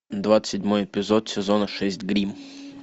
двадцать седьмой эпизод сезона шесть гримм